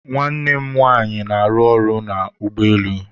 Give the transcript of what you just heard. nwanne nwanyị na-arụ ọrụ n'ụgbọelu